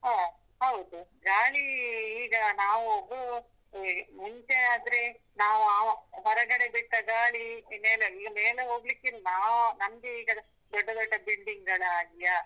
ಹಾ ಹೌದು, ಗಾಳಿ ಈಗ ನಾವು ಮುಂಚೆ ಆದ್ರೆ ನಾವು ಹೊರಗಡೆ ಬಿಟ್ಟ ಗಾಳಿ ಮೇಲೆ ಹೋಗಿ ಮೇಲೆ ಹೋಗ್ಲಿಕ್ಕಿಲ್ಲ, ನಮ್ಗೆ ಈಗ ದೊಡ್ಡ ದೊಡ್ಡ building ಗಳಾಗಿಯಾ.